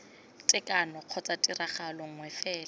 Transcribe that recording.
tekano kgotsa tiragalo nngwe fela